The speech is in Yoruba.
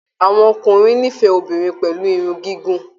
Àwọn ọkùnrin n'ifẹ obìnrin pẹ̀lú Irun gigun.